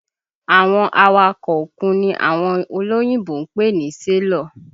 Àwọn awakọ̀ òkun ni àwọn olóyìnbo ń pè ní sélọ̀